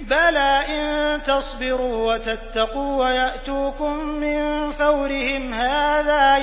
بَلَىٰ ۚ إِن تَصْبِرُوا وَتَتَّقُوا وَيَأْتُوكُم مِّن فَوْرِهِمْ هَٰذَا